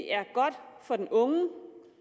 er godt for den unge